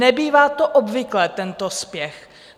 Nebývá to obvyklé, tento spěch.